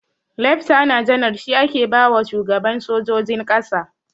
Leftana janar shi ake bawa shugaban sojojin ƙasa.